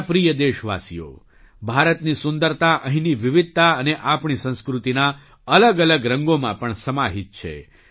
મારા પ્રિય દેશવાસીઓ ભારતની સુંદરતા અહીંની વિવધતા અને આપણી સંસ્કૃતિના અલગઅલગ રંગોમાં પણ સમાહિત છે